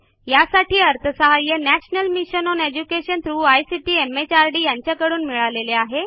यासाठी अर्थसहाय्य national mission on education through ICT MHRDयांच्याकडून अर्थसहाय्य मिळालेले आहे